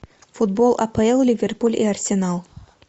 футбол апл ливерпуль и арсенал